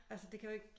Altså det kan jo ikke